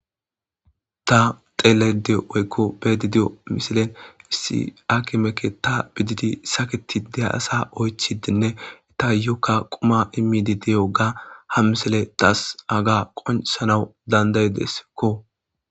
Ta xeele deyo oykko bedi di7o misilen issi akimeke ta bididi saketi de asa oychidenne ta yokka quma immidi diyoga ha misele taas aga qonsanawu dandaydeskko.